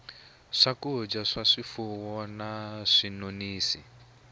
swakudya swa swifuwo na swinonisi